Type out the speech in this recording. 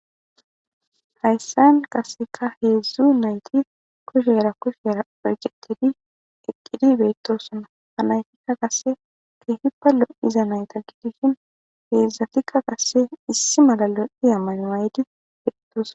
Hayssan kasseka heedzdzu nayti kushera kushera pergetidi eqqidi beettossona hanaytikka kasse keehi palo'iza nayta giidishin feedzdzatikka kasse issi malalo'i aman aydi beettoson.